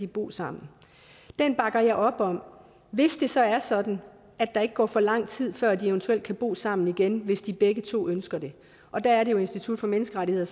bo sammen den bakker jeg op om hvis det så er sådan at der ikke går for lang tid før de eventuelt kan bo sammen igen hvis de begge to ønsker det og der er det at institut for menneskerettigheder